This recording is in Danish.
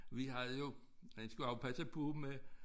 Vi havde jo man skulle også passe på med